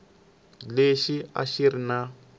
lexi a xi ri na